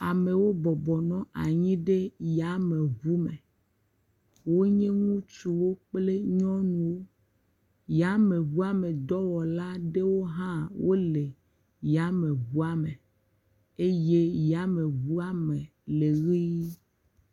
Amewo bɔbɔ nɔ anyi ɖe yameŋu me, wonye ŋutsuwo kple nyɔnuwo, yameŋua me dɔwɔlawo aɖewo hã wole yameŋua me eye yameŋua me le ʋɛ̃.